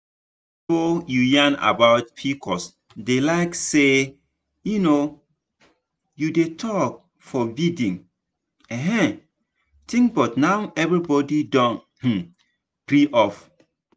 before to yarn about pcos dey like say um you dey talk forbidden um thing but now everybody don um free up.